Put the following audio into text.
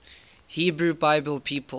hebrew bible people